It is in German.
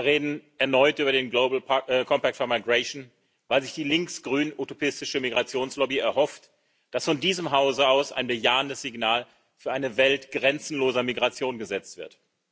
Wir reden erneut über den weil sich die links grün utopistische Migrationslobby erhofft, dass von diesem Hause aus ein bejahendes Signal für eine Welt grenzenloser Migration gesetzt wird.